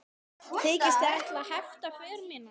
Þykist þið ætla að hefta för mína?